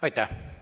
Aitäh!